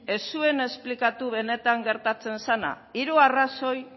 ez zuen esplikatu benetan gertatzen zena hiru arrazoi